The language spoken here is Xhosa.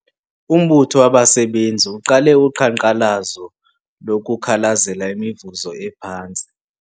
Umbutho wabasebenzi uqale uqhankqalazo lokukhalazela imivuzo ephantsi.